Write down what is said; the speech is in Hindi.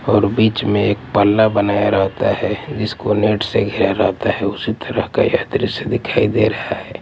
और बीच में एक पल्ला बनाया रहता हैं जिसको नेट से घिरा रहता हैं उसी तरह का यह द्रश्य दिखाई दे रहा हैं।